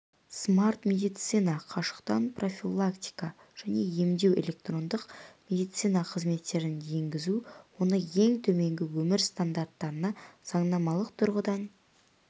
смарт-медицина қашықтан профилактика және емдеу электрондық медицина қызметтерін енгізу оны ең төменгі өмір стандарттарына заңнамалық тұрғыдан